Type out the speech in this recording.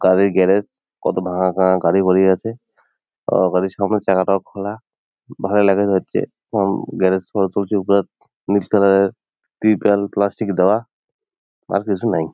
গাড়ির গ্যারেজ কত ভাঙাচোঙা গাড়ি পড়ে আছে ও গাড়ির সামনের চাকাটাও খোলা ভালা লাগা ধরছে গ্যারেজ নিচ তলায় ত্রিপল প্লাস্টিক দেওয়া আর কিছু নাই।